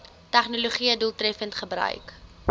tegnologië doeltreffend gebruik